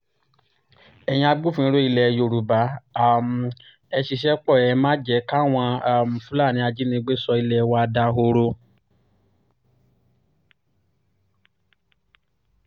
ẹ̀yin agbófinró ilẹ̀ yorùbá um ẹ̀ ṣiṣẹ́ pó ẹ má jẹ́ káwọn um fúlàní ajínigbé sọ ilé wa dahoro